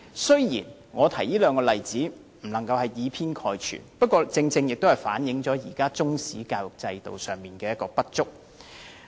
雖然我不能以偏概全，但這兩個例子足以反映現時中史教育的不足。